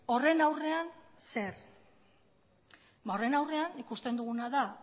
horren aurrean zer ba horren aurrean ikusten duguna da